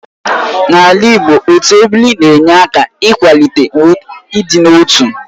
N'ala Igbo, otu ebiri na-enye aka n'ịkwalite ịdị n'otu